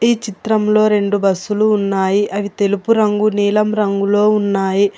ఈ చిత్రంలో రెండు బస్సు లు ఉన్నాయి అవి తెలుపు రంగు నీలం రంగులో ఉన్నాయి.